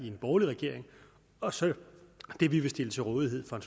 en borgerlig regering og så det vi vil stille til rådighed fra